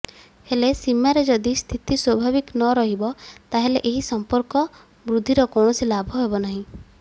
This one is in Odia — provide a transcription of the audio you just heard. ହେଲେ ସୀମାରେ ଯଦି ସ୍ଥିତି ସ୍ୱାଭାବିକ ନରହିବ ତାହେଲେ ଏହି ସମ୍ପର୍କ ବୃଦ୍ଧିର କୌଣସି ଲାଭ ହେବ ନାହିଁ